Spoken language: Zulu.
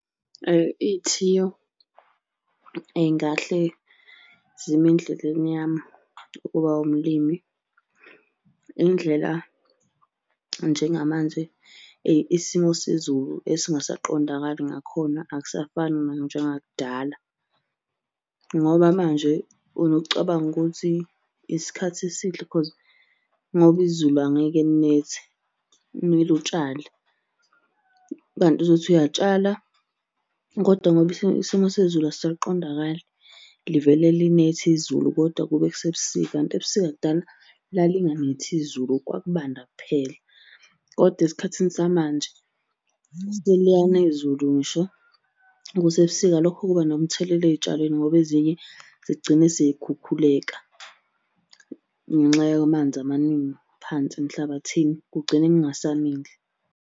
Iy'thiyo ey'ngahle zime endleleni yami ukuba umlimi, indlela njengamanje isimo sezulu esingasaqondakali ngakhona akusafani nanjengakudala, ngoba manje unokucabanga ukuthi isikhathi esihle cause ngoba izulu angeke linethe, kumele utshale. Kanti uzothi uyatshala koda ngoba isimo sezulu asisaqondakali livele linetha izulu kodwa kube kusebusika kanti ebusika kudala lalinganethi izulu kwakubanda kuphela, kodwa esikhathini samanje seliyana izulu ngisho kusebusika. Lokho kuba nomthelela ey'tshalweni ngoba ezinye zigcine sey'kukhukhuleka ngenxa yamanzi amaningi phansi emhlabathini kugcine kungasamili.